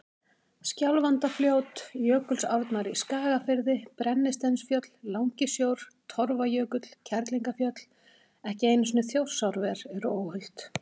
Skjálfandafljót, Jökulsárnar í Skagafirði, Brennisteinsfjöll, Langisjór, Torfajökull, Kerlingarfjöll, ekki einu sinni Þjórsárver eru óhult.